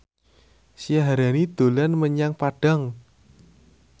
Syaharani dolan menyang Padang